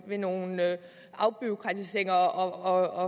ved nogle afbureaukratiseringer og